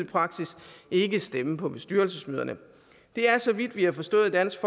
praksis ikke stemme på bestyrelsesmøderne det er så vidt vi har forstået i dansk